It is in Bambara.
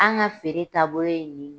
An ka feere taabolo ye nin ye.